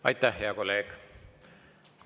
Aitäh, hea kolleeg!